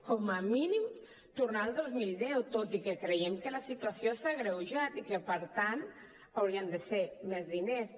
com a mínim tornar al dos mil deu tot i que creiem que la situació s’ha agreujat i que per tant haurien de ser més diners